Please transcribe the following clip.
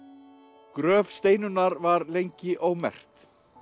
gröf Steinunnar var lengi ómerkt